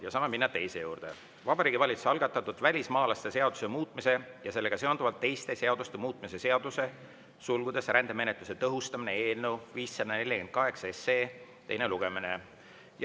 Saame minna teise juurde: Vabariigi Valitsuse algatatud välismaalaste seaduse muutmise ja sellega seonduvalt teiste seaduste muutmise seaduse eelnõu 548 teine lugemine.